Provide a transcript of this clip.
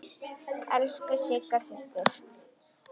Elsku Sigga systir.